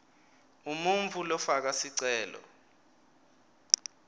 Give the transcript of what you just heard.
umuntfu lofaka sicelo